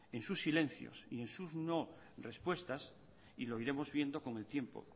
en sus silencios y en sus no respuestas y lo iremos viendo con el tiempo